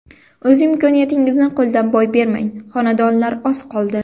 O‘z imkoniyatingizni qo‘ldan boy bermang, xonadonlar oz qoldi!